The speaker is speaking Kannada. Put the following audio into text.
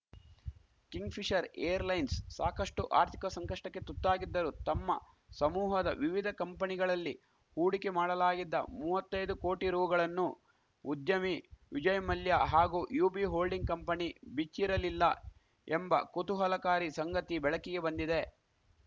ಕಿಂಗ್‌ಫಿಷರ್‌ ಏರ್‌ಲೈನ್ಸ್‌ ಸಾಕಷ್ಟುಆರ್ಥಿಕ ಸಂಕಷ್ಟಕ್ಕೆ ತುತ್ತಾಗಿದ್ದರೂ ತಮ್ಮ ಸಮೂಹದ ವಿವಿಧ ಕಂಪಣಿಗಳಲ್ಲಿ ಹೂಡಿಕೆ ಮಾಡಲಾಗಿದ್ದ ಮೂವತ್ತೈದು ಕೋಟಿ ರುಗಳನ್ನು ಉದ್ಯಮಿ ವಿಜಯ್‌ ಮಲ್ಯ ಹಾಗೂ ಯುಬಿ ಹೋಲ್ಡಿಂಗ್‌ ಕಂಪಣಿ ಬಿಚ್ಚಿರಲಿಲ್ಲ ಎಂಬ ಕುತೂಹಲಕಾರಿ ಸಂಗತಿ ಬೆಳಕಿಗೆ ಬಂದಿದೆ